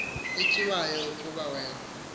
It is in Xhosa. etyiwayo kuba wen